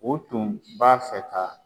O tun b'a fɛ ka.